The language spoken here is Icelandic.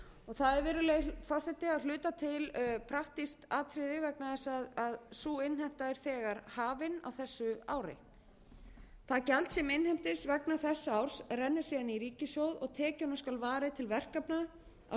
það er virðulegi forseti að hluta til praktískt atriði vegna þess að sú innheimta er þegar hafin á þessu ári það gjald sem innheimtist vegna þessa árs renni síðan í ríkissjóð og tekjunum skal varið til verkefna á sviði